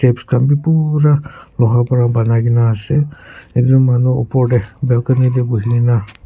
ka bhi pura Loha para bonai keni ase etu manu opor te bankeny te bohe kina--